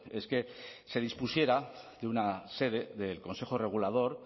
es que se dispusiera de una sede del consejo regulador